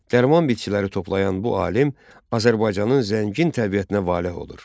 Dərman bitkiləri toplayan bu alim Azərbaycanın zəngin təbiətinə valeh olur.